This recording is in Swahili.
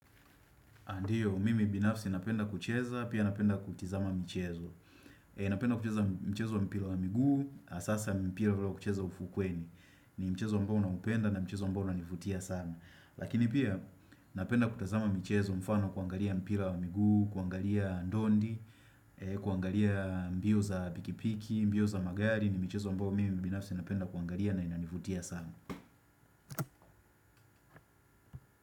Ndiyo, mimi binafsi napenda kucheza, pia napenda kutizama mchezo Napenda kucheza mchezo wa mpila wa miguu, asasa mpila ule wa kuchezwa ufukweni ni mchezo ambao naupenda na mchezo ambao unanivutia sana Lakini pia napenda kutazama mchezo mfano kuangalia mpila wa miguu, kuangalia ndondi kuangalia mbio za pikipiki, mbio za magari ni mchezo ambao mimi binafsi napenda kuangalia na inanivutia sana.